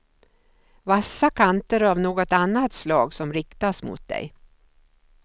Vassa kanter av något annat slag som riktas mot dig.